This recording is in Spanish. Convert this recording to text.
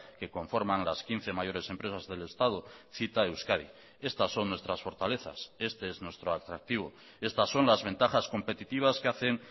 que conforman las quince mayores empresas del estado cita euskadi estas son nuestras fortalezas este es nuestro atractivo estas son las ventajas competitivas que hacen